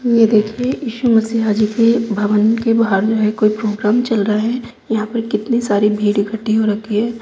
ये देखिये ईशु मसीहा जी के भवन के बाहर जो है कोई प्रोग्राम चल रहा है यहां पर कितनी सारी भीड़ इक्कठी हो रखी है।